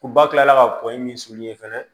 Ko ba kilala ka kɔnni min fana